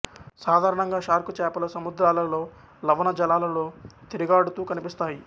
సాధారణంగా షార్క్ చేపలు సముద్రాలలో లవణ జలాలలో తిరుగాడుతూ కనిపిస్తాయి